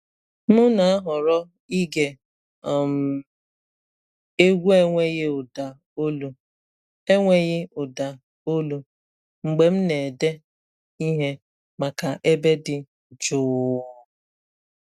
M na-ahọrọ ige um egwu enweghị ụda olu enweghị ụda olu mgbe m na-ede ihe maka ebe dị jụụ.